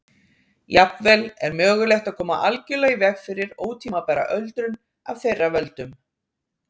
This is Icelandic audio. Jafnvel er mögulegt að koma algjörlega í veg fyrir ótímabæra öldrun af þeirra völdum.